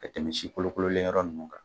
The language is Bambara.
Ka tɛmɛ si kolokololenyɔrɔ ninnu kan